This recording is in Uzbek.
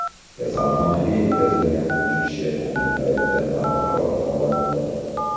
Kasalxonaga yetkazilgan uch kishi ayni paytda barqaror holatda.